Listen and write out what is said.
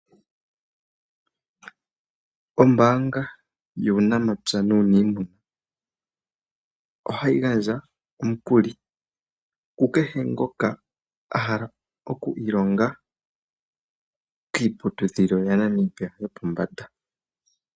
Ombanga yuunamapya nuunimuna ohayingandja omukuli kukehe ngoka ahala okwilonga kiiputudhilo ya Namibia yopo mbanda.